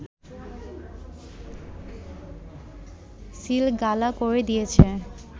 সিলগালা করে দিয়েছে